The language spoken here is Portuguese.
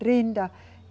Trinta.